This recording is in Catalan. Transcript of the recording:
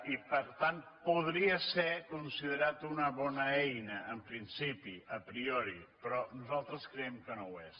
i per tant podria ser considerat una bona eina en principi a priori però nosaltres creiem que no ho és